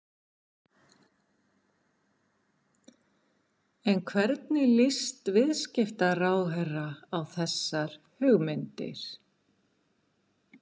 En hvernig líst viðskiptaráðherra á þessar hugmyndir?